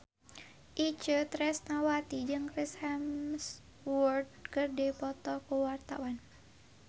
Itje Tresnawati jeung Chris Hemsworth keur dipoto ku wartawan